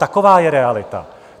Taková je realita.